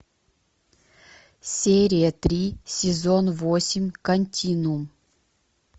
серия три сезон восемь континуум